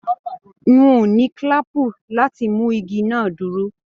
N o ní kílàápú láti mú igi náà dúró.